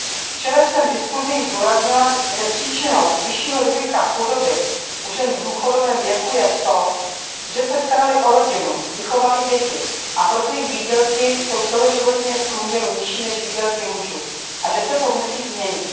Včera jsem v diskuzi zdůraznila, že příčinou vyššího rizika chudoby u žen v důchodovém věku je to, že se staraly o rodinu, vychovaly děti, a proto jsou jejich výdělky celoživotně v průměru nižší než výdělky mužů, a že se to musí změnit.